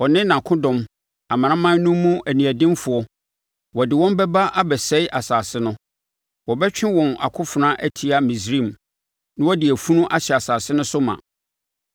Ɔno ne nʼakodɔm; amanaman no mu aniɛdenfoɔ, wɔde wɔn bɛba abɛsɛe asase no. Wɔbɛtwe wɔn akofena atia Misraim na wɔde afunu ahyɛ asase no so ma.